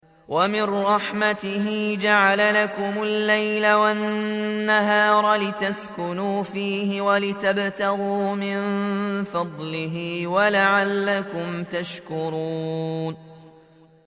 وَمِن رَّحْمَتِهِ جَعَلَ لَكُمُ اللَّيْلَ وَالنَّهَارَ لِتَسْكُنُوا فِيهِ وَلِتَبْتَغُوا مِن فَضْلِهِ وَلَعَلَّكُمْ تَشْكُرُونَ